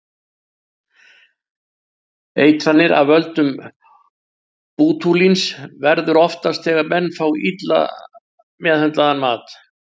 Eitranir af völdum bótúlíns verða oftast þegar menn fá illa meðhöndlaðan mat.